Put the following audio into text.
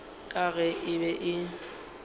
ka ge e be e